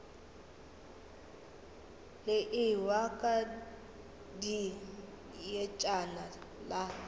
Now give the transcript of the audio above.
le ewa ka dietšana la